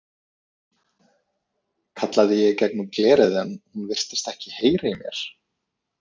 kallaði ég í gegnum glerið en hún virtist ekki heyra í mér.